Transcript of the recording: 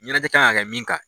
Ɲɛnajɛ kan ka kɛ min kan